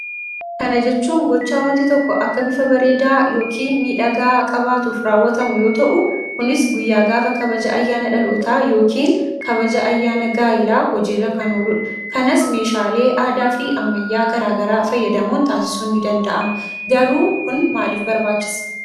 Kana jechuun gochaa wanti tokko akka bifa bareedaa yookiin miidhagaa qabaatuuf raawwatamu yoo ta'u kunis guyyaa gaafa kabaja ayyaana dhalootaa yookiin kabaja ayyaana gaa'ilaa hojiirra kan ooludha. Kanas meeshaalee aadaa fi ammayaa garaa garaa fayyadamuun taasisuun ni danda'ama. Garuu kun maalif barbaachise?